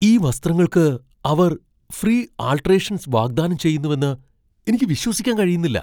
ഈ വസ്ത്രങ്ങൾക്ക് അവർ ഫ്രീ ആൾട്ടറേഷൻസ് വാഗ്ദാനം ചെയ്യുന്നുവെന്ന് എനിക്ക് വിശ്വസിക്കാൻ കഴിയുന്നില്ല!